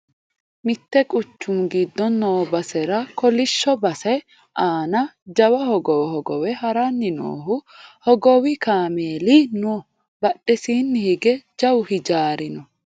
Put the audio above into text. mitte quchumu giddo noo basera kolishsho base aana jawa hogowo hogowe haranni noohu hogowi kameeli no badhesiinni hige jawu hijaari no